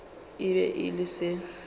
e be e le se